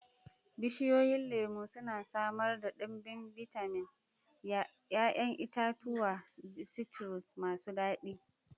Bishiyoyin lemu suna samar da ɗimbin bitamin, 'ya'yan itatuwa citrus masu daɗi.